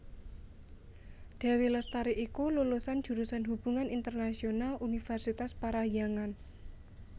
Dewi Lestari iku lulusan jurusan Hubungan Internasional Universitas Parahyangan